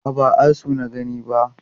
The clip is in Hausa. A'a, ba asu na gani ba.